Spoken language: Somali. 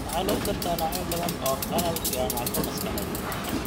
Waxaa lagu gartaa noocyo badan oo qalal iyo naafo maskaxeed.